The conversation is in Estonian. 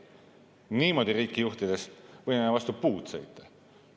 Niimoodi riiki juhtides võime vastu puud sõita.